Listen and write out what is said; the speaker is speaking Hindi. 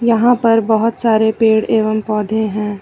यहां पर बहुत सारे पेड़ एवं पौधे हैं।